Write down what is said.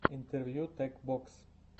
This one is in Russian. интервью тек бокс